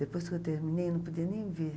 Depois que eu terminei, não podia nem vir.